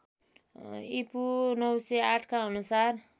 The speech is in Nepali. ईपू ९०८ का अनुसार